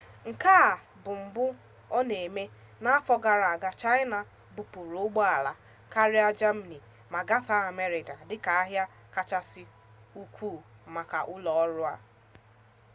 nke a bụ mbụ ọ na-eme n'afọ gara aga chaịna bupuru ụgbọala karịa jamani ma gafere amerịka dịka ahịa kachasị ukwu maka ụlọọrụ a